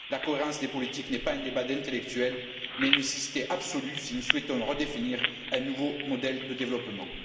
La cohérence des politiques n'est pas un débat d'intellectuels, mais une nécessité absolue si nous souhaitons redéfinir un nouveau modèle de développement.